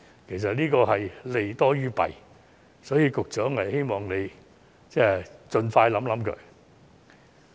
其實，這項建議是利多於弊的，希望局長可以盡快考慮。